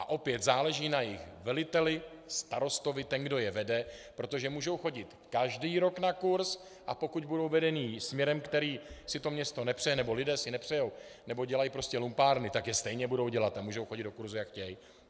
A opět, záleží na jejich veliteli, starostovi, tom, kdo je vede, protože můžou chodit každý rok na kurz, a pokud budou vedeni směrem, který si to město nepřeje, nebo lidé si nepřejí, nebo dělají prostě lumpárny, tak je stejně budou dělat a můžou chodit do kurzů, jak chtějí.